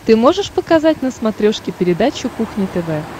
ты можешь показать на смотрешке передачу кухня тв